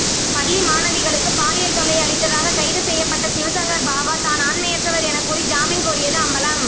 பள்ளி மாணவிகளுக்கு பாலியல் தொல்லை அளித்ததாக கைது செய்யப்பட்ட சிவசங்கர் பாபா தான் ஆண்மையற்றவர் எனக்கூறி ஜாமீன் கோரியது அம்பலம்